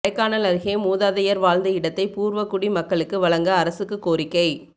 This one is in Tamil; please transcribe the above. கொடைக்கானல் அருகே மூதாதையா் வாழ்ந்த இடத்தை பூா்வகுடி மக்களுக்கு வழங்க அரசுக்கு கோரிக்கை